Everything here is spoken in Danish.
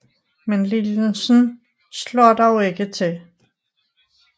Men lignelsen slår dog ikke til